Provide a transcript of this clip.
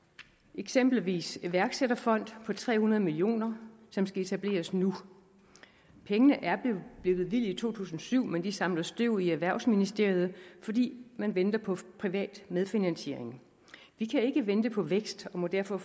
eksempelvis en iværksætterfond på tre hundrede million kr som skal etableres nu pengene er blevet bevilget i to tusind og syv men de samler støv i erhvervsministeriet fordi man venter på privat medfinansiering vi kan ikke vente på vækst og må derfor